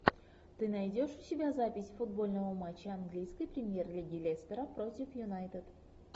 ты найдешь у себя запись футбольного матча английской премьер лиги лестера против юнайтед